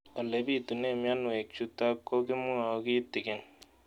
Ole pitune mionwek chutok ko kimwau kitig'�n